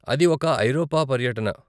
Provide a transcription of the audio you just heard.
అది ఒక ఐరోపా పర్యటన.